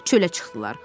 Çölə çıxdılar.